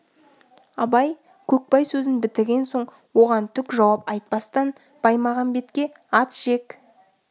абай көкбай сөзін бітірген соң оған түк жауап айтпастан баймағамбетке ат жек